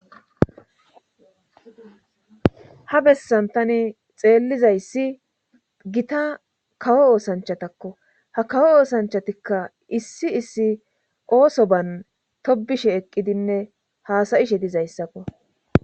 ha bessan tani xeellizayssi gita kawo oosanchatakko ha kawo oosanchatikka issi issi oosoban tobishe eqqidinne haasa7ishe dizayssakko.